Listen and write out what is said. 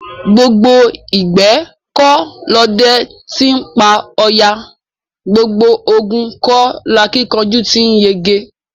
Gbogbo ìgbẹ́ kọ́ lọdẹ ti ńpa ọ̀yà; gbogbo ogun kọ́ lakíkanjú ti ńyege.